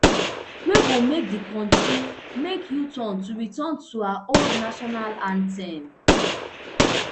wey go make di kontri make uturn to return to her old national anthem